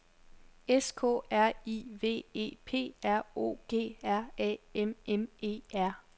S K R I V E P R O G R A M M E R